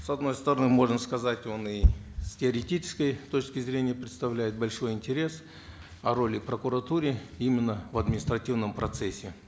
с одной стороны можно сказать он и с теоретической точки зрения представляет большой интерес о роли в прокуратуре именно в административном процессе